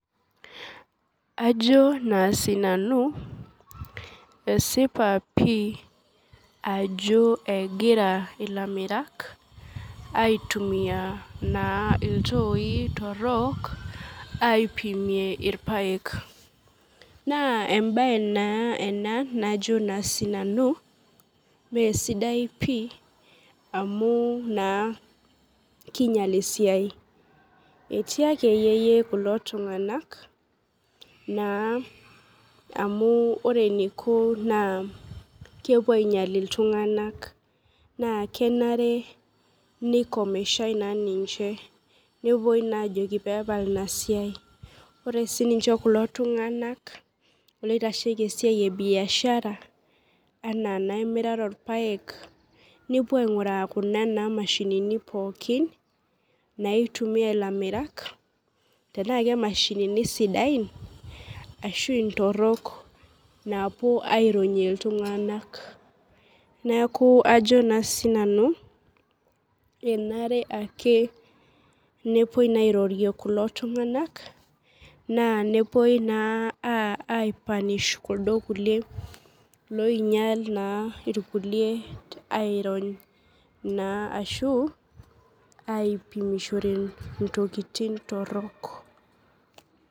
Ajo naa sinanu esipa pii ajo egira ilamirak aitumia naa iltoi torrok aipimie irpayek naa embaye naa ena najo naa sinanu mesidai pii amu naa kinyial esiai etii akeyie yie kulo tung'ank naa amu ore eniko naa kepuo ainyial iltung'anak naa kenare neikomeshae naa ninche nepuoi naa ajoki peepal ina siai ore sininche kulo tung'anak loitasheki esiai e biashara anaa naa emirata orpayek nepuo aing'uraa kuna naa mashinini pookin naitumia ilamerak tenaa ke mashinini sidain ashu intorrok naapuo aironyie iltung'anak neku ajo naa sinanu enare ake nepuoi naa airorie kulo tung'anak naa nepuoi naa ae punish kuldo kulie loinyial naa irkulie airony naa ashu aipimishore intokitin torrok.